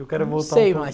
Eu quero voltar